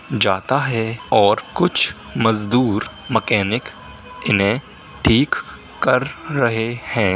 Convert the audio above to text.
जाता है और कुछ मजदूर मकेनिक इन्है ठीक कर रहे है।